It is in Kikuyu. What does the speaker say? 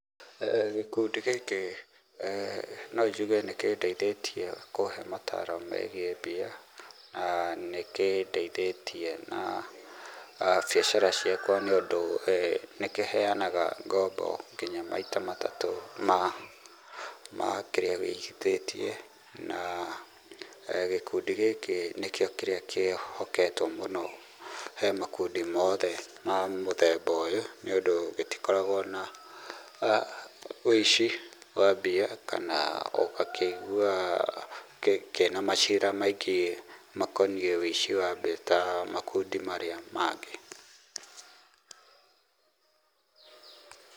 Gĩkundi gĩkĩ no njuge nĩ kĩndeithĩtie kuhe mataro megiĩ mbia, na nĩkĩndeithĩtie na biacara ciakwa nĩũndũ nĩ kĩheanaga ngombo nginya maita matatũ ma kĩria ũigithĩtie, na gĩkundi gĩkĩ nĩkĩo kĩria kĩhoketwo mũno he makundi mothe ma mũthemba ũyũ, nĩũndũ gĩtikoragwo na ũici wa mbia, kana ũgakĩigua kĩna macira maingĩ makoniĩ ũici wa mbia ta makundi marĩa mangĩ.